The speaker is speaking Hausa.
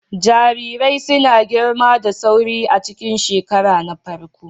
Jarirai suna girma da sauri a cikin shekara na farko.